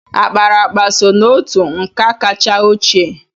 Akparaakpa so n'otú nka kacha ochie.